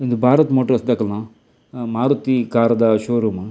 ಉಂದು ಭಾರತ್ ಮೊಟಾರ್ಸ್ ದಕಲ್ನ ಮಾರುತಿ ಕಾರ್ ದ ಶೋರೂಮ್ .